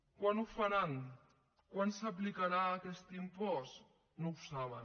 quan ho faran quan s’aplicarà aquest impost no ho saben